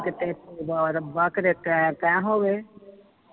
ਤੇ ਰੱਬਾ ਰੱਬਾ ਕੀਤੇ ਟੈ ਟੈ ਹੋਵੇ